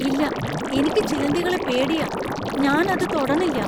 ഇല്ല! എനിക്ക് ചിലന്തികളെ പേടിയാ. ഞാൻ അത് തൊടണില്ലാ.